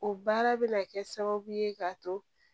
O baara bɛ na kɛ sababu ye k'a to